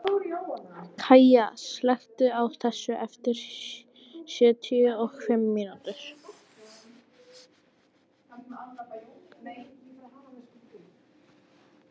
Kaja, slökktu á þessu eftir sjötíu og fimm mínútur.